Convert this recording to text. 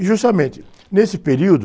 E, justamente nesse período,